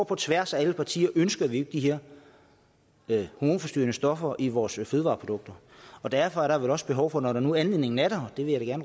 på tværs af alle partier at ønske de her hormonforstyrrende stoffer i vores fødevareprodukter derfor er der vel også behov for når nu anledningen er der og det vil jeg